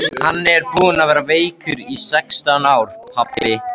Hann er búinn að vera veikur í sextán ár, pabbi.